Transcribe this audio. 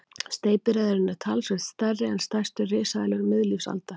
Steypireyðurin er talsvert stærri en stærstu risaeðlur miðlífsaldar.